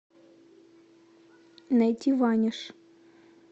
найти ваниш